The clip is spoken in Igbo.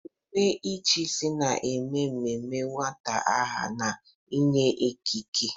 Emume ịchịisi na-eme ememe nweta aha na inye ikike.